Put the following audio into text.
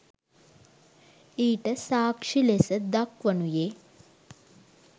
ඊට සාක්‍ෂි ලෙස දක්වනුයේ